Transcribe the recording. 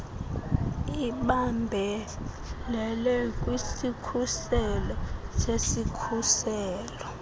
ibambelele kwisikhuselo sesikhuselo